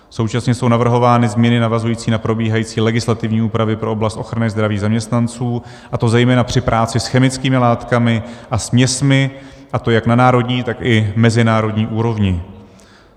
Současně jsou navrhovány změny navazující na probíhající legislativní úpravy pro oblast ochrany zdraví zaměstnanců, a to zejména při práci s chemickými látkami a směsmi, a to jak na národní, tak i mezinárodní úrovni.